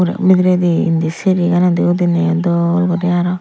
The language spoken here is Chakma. aro bidiredi indi siriganodi udineyoi dol guri aro.